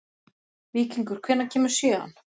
Víkingur, hvenær kemur sjöan?